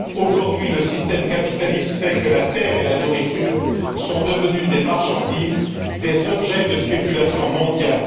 Aujourd'hui, le système capitaliste fait que la terre et la nourriture sont devenues des marchandises, des objets de spéculation mondiale.